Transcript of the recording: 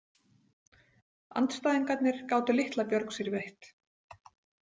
Andstæðingarnir gátu litla björg sér veitt.